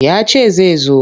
Ya ce zai zo.